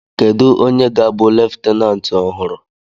Kedu onye ga-abụ leftenanti ọhụrụ?